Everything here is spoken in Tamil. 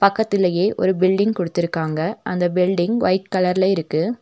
பக்கதிலேயே ஒரு பில்டிங் குடுத்துருக்காங்க அந்த பில்டிங் ஒயிட் கலர்ல இருக்கு.